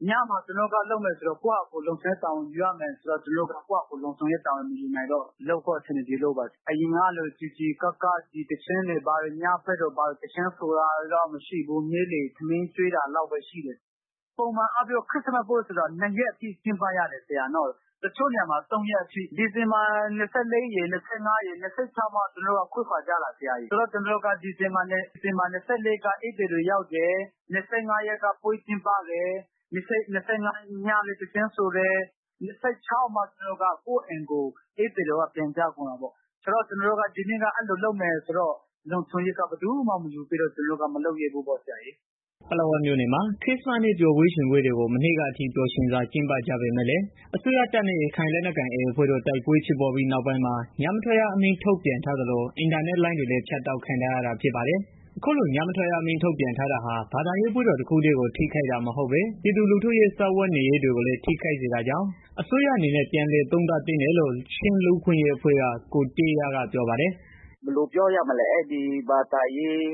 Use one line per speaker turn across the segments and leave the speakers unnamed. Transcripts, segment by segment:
။ ညမှာ ကျနော်တို့က လုပ်မယ် ဆိုတော့ ကိုယ့်ဟာကို လုံခြုံရေး ယူရမယ်ဆိုတော့ ကျနော်တို့ကလည်း ကိုယ်ဟာကို လုံခြုံရေး မယူနိုင်တော့ လုပ်ဖို့ အဆင်မပြေလို့ပါ။ အရင်ကလို စည်စည်ကားကား ညဘက်မှာ သီချင်းဆိုတာတို့ ဘာတို့တော့ မရှိဘူး။ နေ့လည် ထမင်းကျွေးတာလောက်ပဲ ရှိတယ်။ ပုံမှန်အားဖြင့် ခရစ္စမတ်ပွဲ ဆိုတာ နှစ်ရက်အထိ ကျင်းပရတာပေါ့နော်။ တချို့နေရာတွေမှာ ၃ ရက်အထိ ဒီဇင်ဘာ ၂၄ ရယ်၊ ၂၅ ရယ်၊ ၂၆ ရက်နေ့မှ ကျနော်တို့က ခွဲခွာကြတာ။ ဒီဇင်ဘာ ၂၄ က ဧည့်သည်တွေ ရောက်တယ်။ ၂၅ မှာ ပွဲကျင်းပတယ်။ ညမှာ သီချင်းဆိုကြတယ်။ ၂၆ ရက်နေ့ရောက်မှ ကိုယ့်အိမ်ကို ကိုယ်ပြန်ကြတယ်။ ဆိုတော့ ဒီနှစ်က အဲလိုလုပ်မယ်ဆိုတော့ လုံခြုံရေးက ဘယ်သူမှမယူပေးတော့ ကျနော်တို့လည်း မလုပ်ရဲဘူးပေါ့။"
ပလက်ဝမြို့နယ်မှာ ခရစ္စမတ်နေ့ ပျော်ပွဲရွင်ပွဲတွေကို မနှစ်ကအထိ ပျော်ရွင်စွာ ကျင်းပကြပေမယ့်လည်း အစိုးရတပ်နဲ့ ရခိုင်လက်နက်ကိုင် AA အဖွဲ့ တို့ တိုက်ပွဲဖြစ်ပွားပြီးနောက်ပိုင်းမှာ ညမထွက်ရ အမိန့်ထုတ်ပြန်ထားသလို အင်တာနက် လိုင်းတွေလည်း ဖြတ်တောက်ခံထားရတာ ဖြစ်ပါတယ်။ အခုလို ညမထွက်ရ အမိန့်ထုတ်ပြန်ထားတာဟာ ဘာသာရေးပွဲတော် တခုတည်းကို ထိခိုက်တာမဟုတ်ပဲ ပြည်သူလူထုရဲ့ စားဝတ်နေရေးကိုလည်း ထိခိုက်စေတာကြောင့် အစိုးရအနေနဲ့ ပြန်လည် သုံးသပ်သင့်တယ်လို့ ချင်း လူ့အခွင့်အရေးအဖွဲ့က ကိုတေးရား က ပြောပါတယ်
။ "ဘယ်လိုပြောရမလဲ အခုက ဘာသာရေး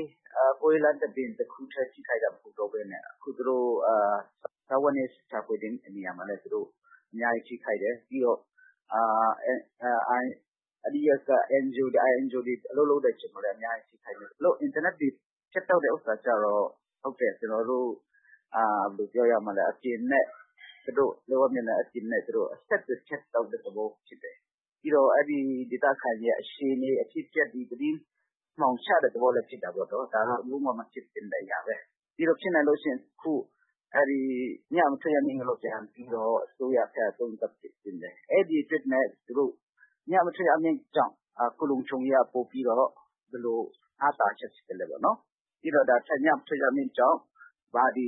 ပွဲလမ်သဘင် တခုတည်း ထိခိုက်နေတာတော့ မဟုတ်ဘူးပေါ့နော် ဒေသခံတွေ စားဝတ်နေရေး ရှာဖွယ်တဲ့ နေရာမှာလည်း အများကြီး ထိခိုက်တယ်။ INGO NGO တွေ အလုပ်လုပ်တဲ့ နေရာမှာလည်း အများကြီး ထိခိုက်တယ်။ အင်တာနက် ဖြတ်တောက် ထားတာဟာလည်း ဒေသခံတွေကို အပြင်လောကနဲ့ အဆက်အသွယ် ဖြတ်တောက်ထားတဲ့ သဘောဖြစ်တယ်။ ဒေသအတွင်းမှာ ဘာတွေ ဖြစ်နေလဲ ဆိုတာကို သတင်းအမှောင် ချထားတဲ့ သဘောလည်းဖြစ်တယ်။ ဒါကတော့ လုံးဝမဖြစ်သင့်တဲ့ အရာပဲ။ ဖြစ်နိုင်လို့ရှိရင် အဲဒီထုတ်ပြန်ထားတဲ့ ညမထွက်ရ အမိန့်ကိုလည်း အစိုးရအနေနဲ့ ပြန်ပြီးတော့ သုံးသပ်စေချင်တယ်။ ညမထွက်ရ အမိန့်ကြောင့် အခုလုံခြုံရေးက ဘယ်လောက် အားသာချက် ရှိတယ်။ ပြီးတော့ ညမထွက်ရ အမိန့်ကြောင့် ဘာတွေ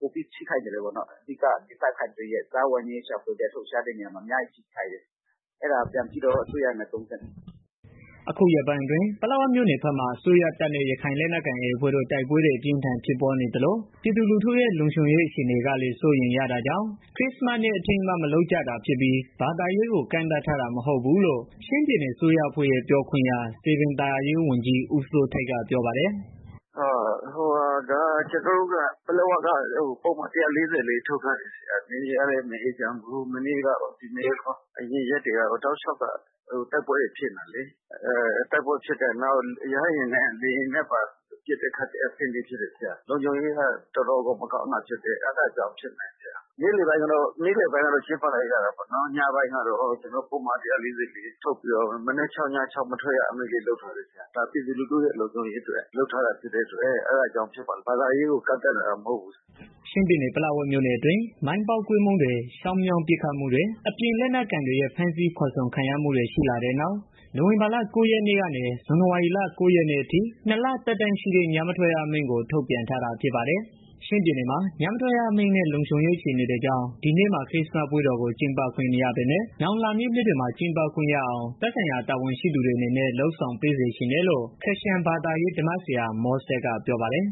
ပိုပြီးတော့ ထိခိုက်သလဲပေါ့။ နောက်ပြီးတော့ ဒေသခံတွေ အလုပ်အကိုင် စားဝတ်နေ ရေးအတွက် ရှာဖွယ်တဲ့ နေရာမှာ အများကြီး ထိခိုက်တယ်။ အဲတာကို ပြန်ပြီးတော့ အစိုးရအနေနဲ့ ပြန်သုံးသပ်သင့်တယ်။
" အခုရက်ပိုင်းအတွင်း ပလက်ဝ မြို့နယ်ဘက်မှာ အစိုးရတပ်နဲ့ ရခိုင်လက်ကိုင် AA အဖွဲ့တို့ တိုက်ပွဲတွေ အပြင်းအထန် ဖြစ်ပွားနေသလို ပြည်သူလူထုရဲ့ လုံခြုံရေး အခြေအနေကလည်း စိုးရမ်ရတာကြောင့် မလုပ်ကြတာဖြစ်ပြီး ဘာသာရေးကို ကန့်သတ်ထားတာ မဟုတ်ဘူးလို့ ချင်းပြည်နယ ်အစိုးရအဖွဲ့ ပြောခွင့်ရ စည်ပင်သာယာရေးဝန်ကြီး ဦးစိုးထိုက်က ပြောပါတယ်
။ "ပလက်ဝက ပုဒ်မ ၁၄၄ ထုတ်ထားတာ ဖြစ်တယ်။ နယ်မြေကလည်း မအေးချမ်းဘူး။ မနေ့ကကော ဒီနေ့ကော အရင်ရက်တွေကကော တလျှောက် တိုက်ပွဲတွေ ဖြစ်နေတာလေ။ နောက်ပြီးတော့ လေယာဉ်နဲ့ပါ ပတ်တဲ့ ခတ်တဲ့ အဆင့်ရှိတယ်။ လုံခြုံရေးက တော်တော်မကောင်းတာဖြစ်တယ်။ အဲတာကြောင့်ပါ။ နေ့ခင်းပိုင်းကတော့ လုပ်ကြတယ်။ မနက် ၆၊ ည ၆ မထွက်ရ လုပ်ထားတယ်။ ဒါဟာလည်း ပြည်သူလူထုရဲ့ လုံခြုံရေးအတွက် လုပ်ထားရတယ်ဖြစ်တယ်။ဘာသာရေးကို ကန့်သတ်ထားတာတော့ မဟုတ်ပါဘူး
ခင်ဗျာ။" ချင်းပြည်နယ် ပလက်ဝမြို့နယ်အတွင်း မိုင်းပေါက်ကွဲမှုတွေ၊ ချောင်း မြောင်း ပစ်ခတ်မှုတွေ အပြင် လက်နက် ကိုင်တွေရဲ့ ဖမ်းဆီးခေါ်ဆောင်ခံရမှုတွေ ရှိလာတဲ့နောက် နိုဝင်ဘာလ ၉ ရက်နေ့ကနေ ဇန်နဝါရီလ ၉ ရက်နေ့ အထိ ၂ လ သက်တမ်းရှိတဲ့ ညမထွက်ရ အမိန့်ကို ထုတ်ပြန်ထားတာ ဖြစ်ပါတယ်။ ချင်းပြည်နယ်မှာ ညမထွက်ရ အမိန့်နဲ့ လုံခြုံရေး အခြေအနေတွေကြောင့် ဒီနှစ်မှာ ခရစ္စမတ် ပွဲတော်ကို ကျင်းပခွင့်မရပေမယ့် နောင်လာမယ့် နှစ်တွေမှာ ကျင်းပခွင့်ရအောင် သက်ဆိုင်ရာ တာဝန်ရှိသူတွေအနေနဲ့ လုပ်ဆောင်ပေးစေချင်တယ်လို့ ခရစ်ယာန်ဘာသာရေး ဓမ္မဆရာမောဆက်
က ပြောပါတယ်